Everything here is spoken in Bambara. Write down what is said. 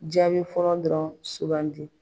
Jaabi fɔlɔ dɔrɔn sugandi.